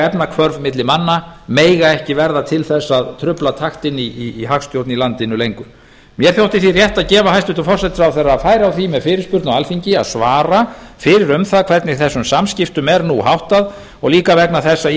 efnahvörf milli manna mega ekki verða til þess að trufla taktinn í hagstjórn í landinu lengur mér þótti því rétt að gefa hæstvirtur forsætisráðherra færi á því með fyrirspurn á alþingi að svara fyrir um það hvernig þessum samskiptum er nú háttað og líka vegna þess að